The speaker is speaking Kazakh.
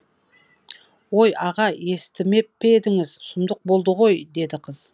ой аға естімеп пе едіңіз сұмдық болды ғой деді қыз